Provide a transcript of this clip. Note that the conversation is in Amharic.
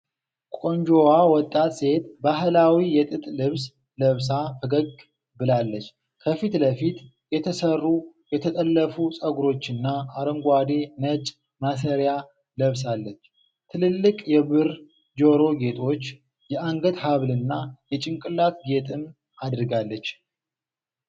ቆንጆዋ ወጣት ሴት ባህላዊ የጥጥ ልብስ ለብሳ ፈገግ ብላለች። ከፊት ለፊት የተሠሩ የተጠለፉ ፀጉሮችና አረንጓዴ ነጭ ማሰሪያ ለብሳለች። ትልልቅ የብር ጆሮ ጌጦች፣ የአንገት ሐብልና የጭንቅላት ጌጥም አድርጋለች።